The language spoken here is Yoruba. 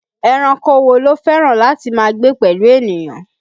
Ẹranko wo ló fẹ́ràn láti máa gbé pẹ̀lú ènìyàn?